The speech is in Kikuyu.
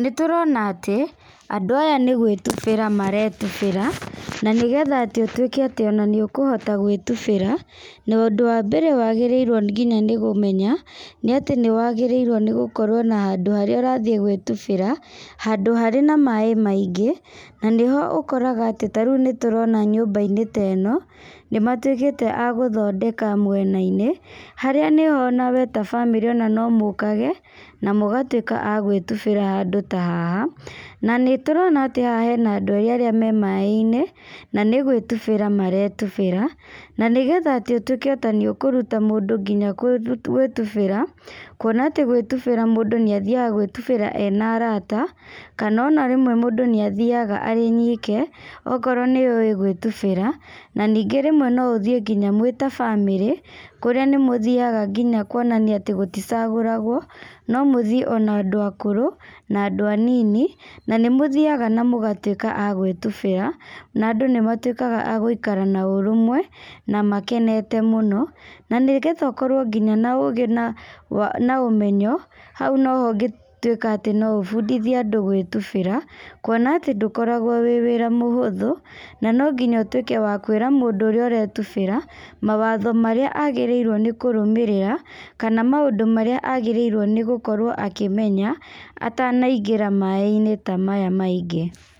Nĩ tũrona atĩ andũ aya nĩ gwĩtubĩra maretubĩra, na nĩgetha ũtuĩke atĩ ũkũhota gwĩtubĩra na ũndũ wa mbere nĩ wagĩrĩirwo nginya nĩ kũmenya nĩ atĩ nĩ wagĩrĩirwo nĩ kũmenya handũ harĩa ũrathiĩ gwĩtubĩra, handũ harĩ na maĩ maingĩ na nĩho ũkoraga rĩu nĩtũ nĩ matuĩkĩte agũthondeka mwena -inĩ harĩa we na famĩrĩ nomũkage na mũgatuĩka agwĩtubĩra handũ ta haha. Na nĩ tũrona atĩ haha hena andũ erĩ me maĩ -inĩ nĩ gwĩtubĩra maretubĩra na nĩgetha ũtuĩke nginya nĩ ũkũruta mũndũ gwĩtubĩra kuona atĩ mũndũ nĩ athiaga gwĩtubĩra ena arata kana ona mũndũ nĩathiaga e wike akorwo nĩ ũĩ gwĩtubĩra na ningĩ rĩmwe no ũgĩthiĩ ta bamarĩ kũrĩa nĩ mũthiaga nginya kwonania atĩ gũticagũragwo no mũthiĩ ona andũ akũrũ na andũ anini na nĩmũthiaga mũgatuĩka agwĩtubĩra na andũ n ĩmatwĩkaga agũikara na ũrũmwe na makenete mũno na nĩgetha ũkũrwo nginya na ũgĩ na ũmenywo hau noho ũngĩtwĩka na ũbundithiĩ mũndũ gwĩtubĩra. Kuona atĩ ũndũ ũrĩa mũhũthũ na nonginya ũtukwe wakwĩra mũndũ ũrĩa arenda gwĩtubĩra mawatho marĩa kũrũmĩrĩra, kana maũndũ marĩa agĩrĩirwo nĩ gũkĩmenya atanaingĩra maĩ -inĩ ta maya maingĩ.